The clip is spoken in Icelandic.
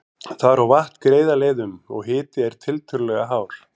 Þar á vatn greiða leið um, og hiti er tiltölulega hár.